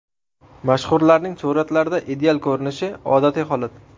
Mashhurlarning suratlarda ideal ko‘rinishi odatiy holat.